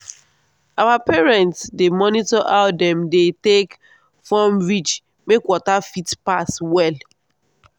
our parents dey monitor how dem dey take form ridge make water fit pass well.